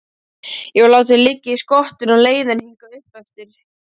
Ég var látinn liggja í skottinu á leiðinni hingað uppeftir.